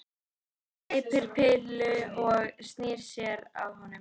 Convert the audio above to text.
Gleypir pillu og snýr sér að honum.